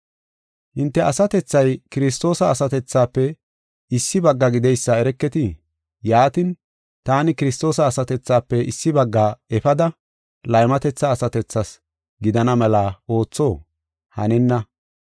Hinte asatethay Kiristoosa asatethafe issi bagga gideysa ereketii? Yaatin, taani Kiristoosa asatethafe issi bagga efada laymatetha asatethi gidana mela ootho? Hanenna!